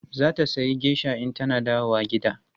Za ta sayi geisha in tana dawowa gida.